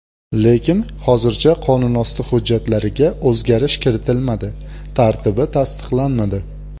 Lekin hozircha qonunosti hujjatlariga o‘zgarish kiritilmadi, tartibi tasdiqlanmadi.